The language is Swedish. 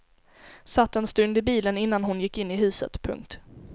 Satt en stund i bilen innan hon gick in i huset. punkt